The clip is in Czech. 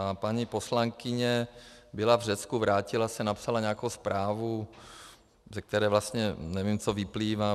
A paní poslankyně byla v Řecku, vrátila se, napsala nějakou zprávu, ze které vlastně nevím, co vyplývá.